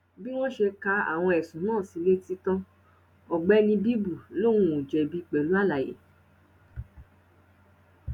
bí wọn ṣe ka àwọn ẹsùn náà sí i létí tán ọgbẹni bíbù lòun ò jẹbi pẹlú àlàyé